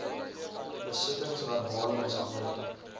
besittings verbale mishandeling